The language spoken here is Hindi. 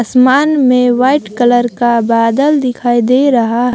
असमान में व्हाईट कलर का बादल दिखाई दे रहा--